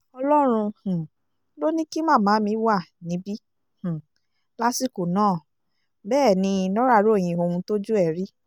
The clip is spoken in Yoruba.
ọlọ́run um ló ní kí màmá mi wá níbí um lásìkò náà bẹ́ẹ̀ ni nora ròyìn ohun tójú ẹ̀ rí